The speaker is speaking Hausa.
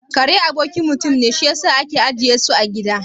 Kare abokin mutum ne, shi yasa ake ajiye su a gida